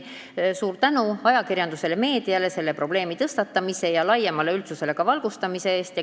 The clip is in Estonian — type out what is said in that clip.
Suur tänu ajakirjandusele selle probleemi tõstatamise ja laiema üldsuse valgustamise eest!